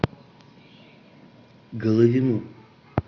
головину